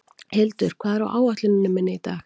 Hildur, hvað er á áætluninni minni í dag?